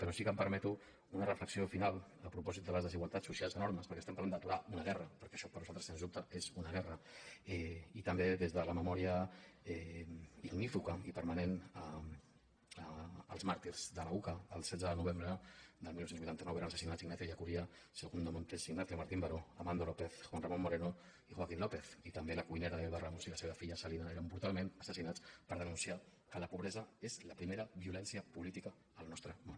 però sí que em permeto una reflexió final a propòsit de les desigualtats socials enormes perquè estem parlant d’aturar una guerra perquè això per nosaltres sens dubte és una guerra i també des de la memòria ignífuga i permanent als màrtirs de la uca el setze de novembre del dinou vuitanta nou eren assassinats ignacio ellacuría segundo montes ignacio martín baró amando lópez juan ramón moreno i joaquín lópez i també la cuinera elba ramos i la seva filla celina eren brutalment assassinats per denunciar que la pobresa és la primera violència política al nostre món